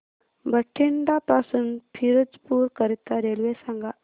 बठिंडा पासून फिरोजपुर करीता रेल्वे सांगा